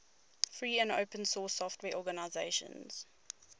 free and open source software organizations